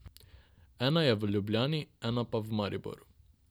Ena je v Ljubljani, ena pa v Mariboru.